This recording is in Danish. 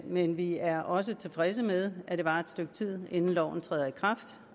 men vi er også tilfredse med at det varer et stykke tid inden loven træder i kraft